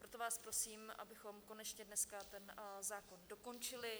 Proto vás prosím, abychom konečně dneska ten zákon dokončili.